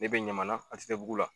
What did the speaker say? Ne be ɲamana a te te bugu la